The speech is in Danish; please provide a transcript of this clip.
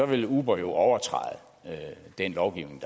vil uber jo overtræde den lovgivning